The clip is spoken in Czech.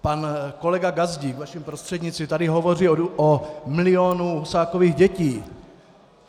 Pan kolega Gazdík, vaším prostřednictvím, tady hovoří o milionu Husákových dětí.